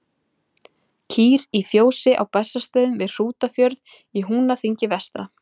Kýr í fjósi á Bessastöðum við Hrútafjörð í Húnaþingi vestra.